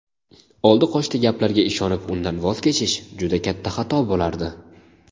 oldi-qochdi gaplarga ishonib undan voz kechish juda katta xato bo‘lardi.